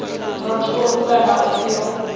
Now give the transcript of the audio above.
motho ofe kana ofe yo